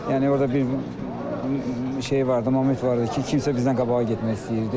Yəni orda bir şey vardı, məqam var idi ki, kimsə bizdən qabağa getmək istəyirdi.